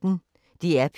DR P1